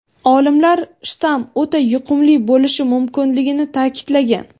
olimlar shtamm o‘ta yuqumli bo‘lishi mumkinligini ta’kidlagan.